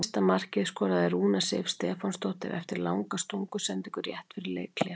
Fyrsta markið skoraði Rúna Sif Stefánsdóttir eftir langa stungusendingu rétt fyrir leikhlé.